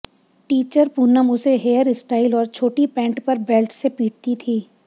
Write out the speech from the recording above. teacher Poonam उसे hair style और छोटी पैंट पर बेल्ट से पीटती थी